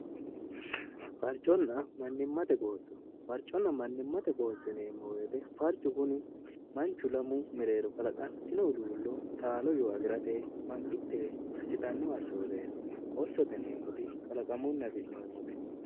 farco'na mannimmate qoosso farconna mannimmate qooso neemmowyete farcu kuni manchu lamu mereero kalaqantino uluullo taalo yoo afi'rate mangitte gassitannow asshooree qoossote neemmoti kalaqamunna fi'noommote